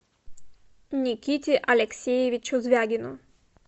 никите алексеевичу звягину